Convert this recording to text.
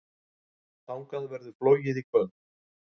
Þangað verður flogið í kvöld.